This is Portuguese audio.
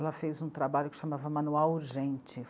Ela fez um trabalho que se chamava Manual Urgente.